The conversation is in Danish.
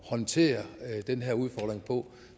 håndtere den her udfordring på